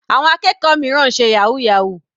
Àwọn akẹ́kọ̀ọ́ mìíràn ń ṣe yahoo yahoo.